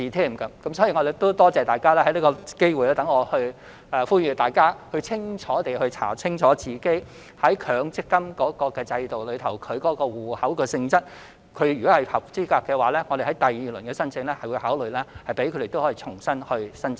因此，我感謝大家，讓我藉此機會呼籲各位市民，要查清楚他們在強積金制度下的戶口性質，如果符合資格，我們在第二輪申請時會考慮讓他們重新申請。